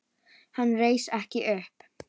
Hann reis ekki upp.